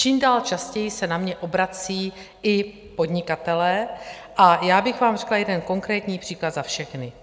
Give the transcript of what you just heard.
Čím dál častěji se na mě obracejí i podnikatelé, a já bych vám řekla jeden konkrétní příklad za všechny.